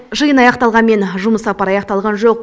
жиын аяқталғанмен жұмыс сапары аяқталған жоқ